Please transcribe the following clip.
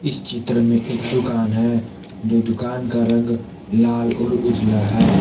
चित्र मे एक दुकान है जो दुकान का रंग लाल और उजला है।